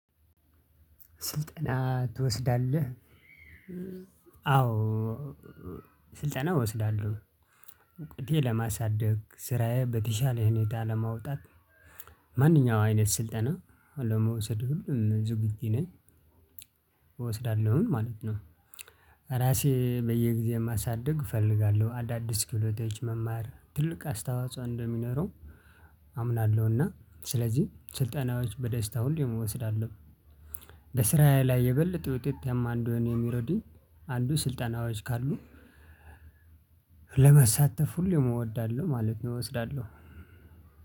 ስልጠና ትወስዳለህ? አዎ ስልጠና እወስዳለሁ እውቀቴ ለማሳደግ ስራዬ በተሻለ ሁኔታ ለማውጣት ማንኛውም አይነት ስልጠና ለመውሰድ ሁሌም ዝግጁ ነኝ እወስዳለሁኝ ማለት ነው። ራሴ በየጊዜው ማሳደግ እፈልጋለሁ። አዳዲስ ክህሎቶች መማር ትልቅ አስተዋጽኦ እንደሚኖረው አምናለሁና ስለዚህ ስልጠናዎች በደስታ ሁሌም እምወስዳለሁ። በስራዬ ላይ የበለጠ ውጤታማ እንድሆን የሚረዱኝ አንዱ ስልጣናዎች ካሉ ለመሳተፍ ሁሌም እወዳለሁ ማለት ነው። እወስዳለሁ።